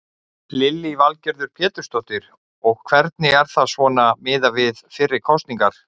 Lillý Valgerður Pétursdóttir: Og hvernig er það svona miðað við fyrri kosningar?